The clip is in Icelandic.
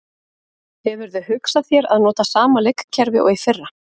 Hefurðu hugsað þér að nota sama leikkerfi og í fyrra?